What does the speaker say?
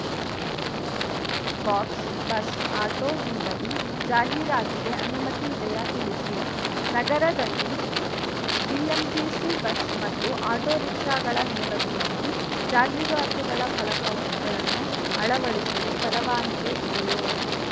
ಬಾಕ್ಸ್‌ಬಸ್‌ auto ಹಿಂಬದಿ ಜಾಹೀರಾತಿಗೆ ಅನುಮತಿ ಇದೆಯಾ ತಿಳಿಸಿ ನಗರದಲ್ಲಿ ಬಿಎಂಟಿಸಿ ಬಸ್‌ ಮತ್ತು ಆಟೊ ರಿಕ್ಷಾಗಳ ಹಿಂಬದಿಯಲ್ಲಿ ಜಾಹೀರಾತುಗಳ ಫಲಕವ್ ಗಳನ್ನು ಅಳವಡಿಸಲು ಪರವಾನಗಿ ಇದೆಯೋ